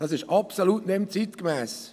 Diese sind absolut nicht mehr zeitgemäss.